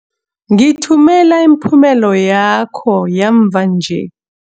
Ngithumela imiphumela yakho yamva nje.